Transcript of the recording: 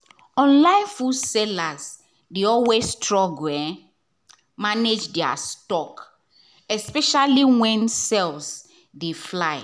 online food sellers dey always struggle manage their stock — especially when sales dey fly.